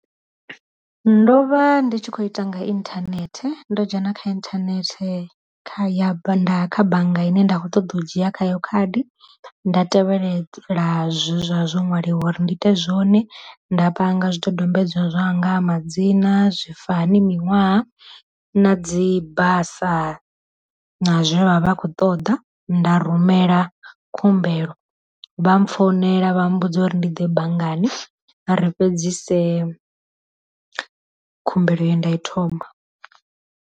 Ndo vha ndi tshi kho ita nga inthanethe ndo dzhena kha inthanethe kha ya kha bannga ine nda kho ṱoḓa u dzhia khayo khadi nda tevhelela zwe zwa zwo ṅwaliwa uri ndi ite zwone, nda panga zwi dodombedzwa zwa nga madzina, zwifani miṅwaha na dzi basa na zwe vha vha kho ṱoḓa, nda rumela khumbelo vha founela vha mmbudza uri ndi ḓe banngani ri fhedzisele khumbelo ye nda i thoma.